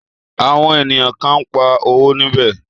Àwọn ènìyàn kan ń pa owó níbẹ̀.